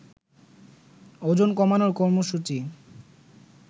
ওজন কমানোর কর্মসূচী